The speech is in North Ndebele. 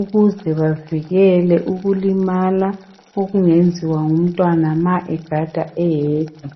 ukuze bavikele ukulimala okungenziwa ngumntwana ma egada eyedwa .